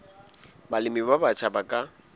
balemi ba batjha ba ka